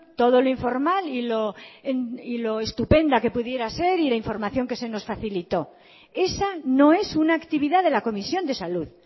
todo lo informal y lo estupenda que pudiera ser y la información que se nos facilitó esa no es una actividad de la comisión de salud